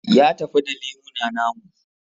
Ya tafi da lemuna namu